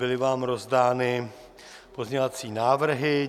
Byly vám rozdány pozměňovací návrhy.